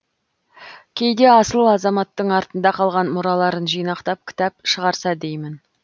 кейде асыл азаматтың артында қалған мұраларын жинақтап кітап шығарса деймін